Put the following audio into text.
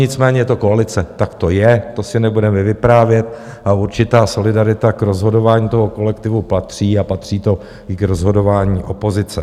Nicméně je to koalice, tak to je, to si nebudeme vyprávět, a určitá solidarita k rozhodování toho kolektivu patří a patří to i k rozhodování opozice.